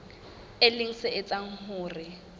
e leng se etsang hore